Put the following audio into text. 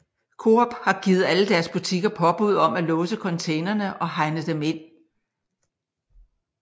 Coop har givet alle deres butikker påbud om at låse containerne og hegne dem ind